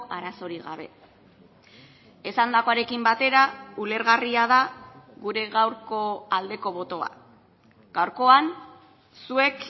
arazorik gabe esandakoarekin batera ulergarria da gure gaurko aldeko botoa gaurkoan zuek